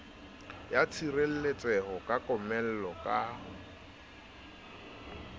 ya tshireletseho ya komello ka